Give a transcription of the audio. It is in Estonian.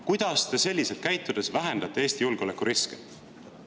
Kuidas te selliselt käitudes vähendate Eesti julgeolekuriske?